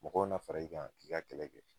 Mɔgɔw na fara i kan, k'i ka kɛlɛ kɛ